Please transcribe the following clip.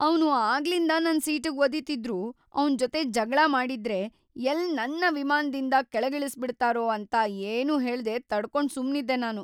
ಅವ್ನು ಆಗ್ಲಿಂದ ನನ್‌ ಸೀಟಿಗ್‌ ಒದೀತಿದ್ರೂ ಅವ್ನ್‌ ಜೊತೆ ಜಗ್ಳ ಮಾಡಿದ್ರೆ ಎಲ್ಲ್‌ ನನ್ನ ವಿಮಾನ್ದಿಂದ ಕೆಳಗಿಳಿಸ್ಬಿಡ್ತಾರೋ ಅಂತ ಏನೂ ಹೇಳ್ದೆ ತಡ್ಕೊಂಡ್ ಸುಮ್ನಿದ್ದೆ ನಾನು.